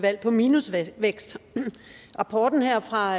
valg på minusvækst rapporten her fra